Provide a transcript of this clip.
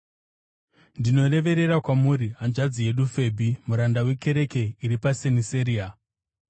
Ndinoreverera kwamuri hanzvadzi yedu Febhi, muranda wekereke iri paSeniseria.